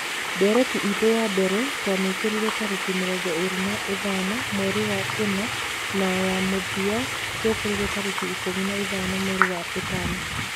"Ndereti itũ ya mbere twamĩkire tarĩki mĩrongo ĩrĩ na ithano mweri wa ĩna na ya mũthia twamĩkire tarĩki ikũmi na ithano mweri wa ĩtano.